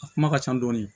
A kuma ka ca dɔɔni